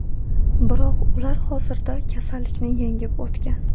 Biroq ular hozirda kasallikni yengib o‘tgan.